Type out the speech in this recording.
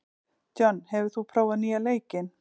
John, hefur þú prófað nýja leikinn?